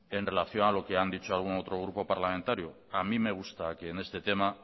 en relación a lo que han dicho otro grupo parlamentario a mí me gusta que en este tema